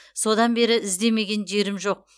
содан бері іздемеген жерім жоқ